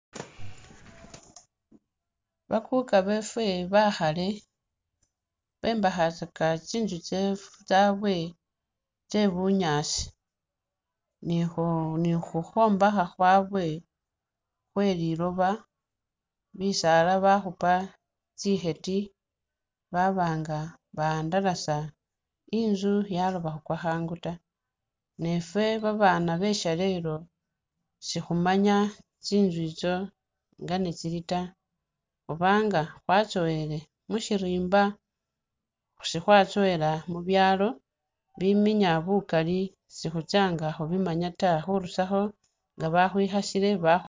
Bakuka befe bekhale bombekhatsaka tsinzu tsabwe tsebunyaasi ni khu ni khukhwombekha khwabwe khwelilooba bisaala bakhupa tsikheti ba-ba nga bawandalasa i'nzu yalooba khukwa khangu ta ne i'fe babaana beshalelo sikhumanya tsinzu itso nga netsili ta oba nga khwatsowele mushirimba sikhwatsowela mubyaalo biminya bukali sikhutsa nga khubimanya ta khurusakho nga bakhwikhasile bakhu